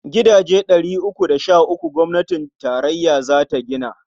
Gidaje ɗari uku da sh uku gwamnatin tarayya za ta gina.